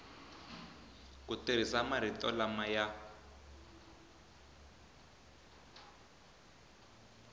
ku tirhisa marito lama ya